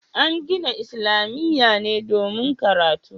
An gina islamiyya ne domin karatu